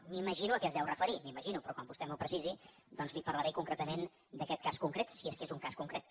m’imagino a què es deu referir m’ho imagino però quan vostè m’ho precisi doncs li parlaré concretament d’aquest cas concret si és que és un cas concret